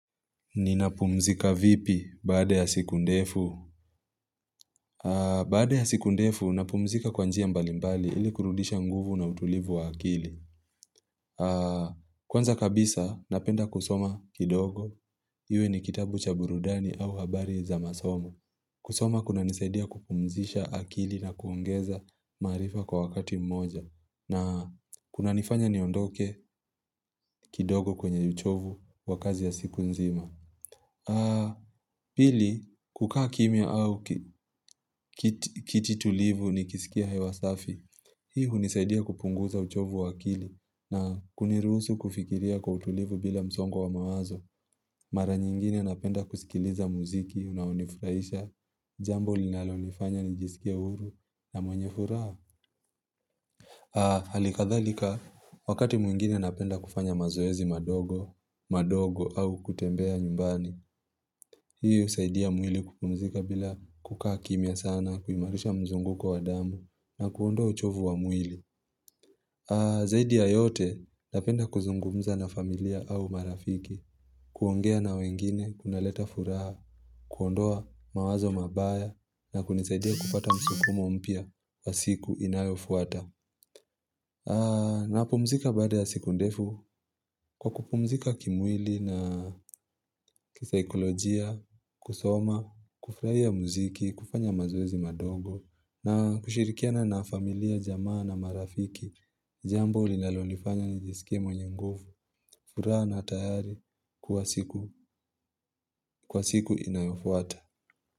Ninapumzika vipi baada ya siku ndefu? Baada ya siku ndefu, napumzika kwa njia mbali mbali ili kurudisha nguvu na utulivu wa akili. Kwanza kabisa, napenda kusoma kidogo. Iwe ni kitabu cha burudani au habari za masomo. Kusoma kunanisaidia kupumzisha akili na kuongeza maarifa kwa wakati mmoja. Na kuna nifanya niondoke kidogo kwenye uchovu wabkazi ya siku nzima. Pili, kukaa kimya au ki kiti tulivu nikisikia hewasafi Hii hunisaidia kupunguza uchovu wa akili na kuniruhusu kufikiria kwa utulivu bila msongo wa mawazo Mara nyingine napenda kusikiliza muziki, unaonifurahisha Jambo linalo nifanya nijisikie uhuru na mwenye furaha Hali kadhalika, wakati mwingine napenda kufanya mazoezi madogo madogo au kutembea nyumbani hiyo husaidia mwili kupumzika bila kukaa kimya sana, kuimarisha mzunguko wa damu na kuondoa uchovu wa mwili. Zaidia ya yote napenda kuzungumza na familia au marafiki, kuongea na wengine, kunaleta furaha, kuondoa mawazo mabaya na kunisaidia kupata msukumo mpya wa siku inayofuata. Napumzika baada ya siku ndefu kwa kupumzika kimwili na kisikolojia, kusoma, kufurahia muziki, kufanya mazoezi madogo na kushirikiana na familia, jamaa na marafiki, jambo linalonifanya nijisikie mwenye nguvu, furaha na tayari kuwa siku kwa siku inayofuata.